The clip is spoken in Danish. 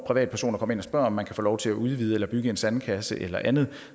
privatpersoner kommer ind og spørger om de kan få lov til at udvide eller bygge en sandkasse eller andet